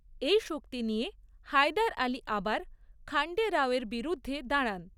এই শক্তি নিয়ে হায়দার আলী আবার খান্ডে রাওয়ের বিরুদ্ধে দাঁড়ান।